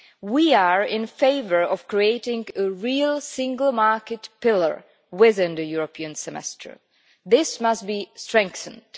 We are in favour of creating a real single market pillar within the European Semester, and this must be strengthened.